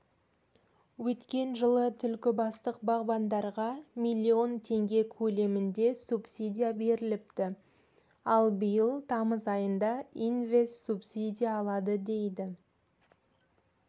өткен жылы түлкібастық бағбандарға миллион теңге көлемінде субсидия беріліпті ал биыл тамыз айында инвест-субсидия алады дейді